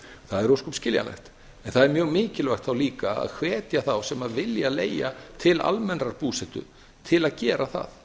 það er ósköp skiljanlegt en það er mjög mikilvægt þá líka að hvetja þá sem vilja leigja til almennrar búsetu til að gera það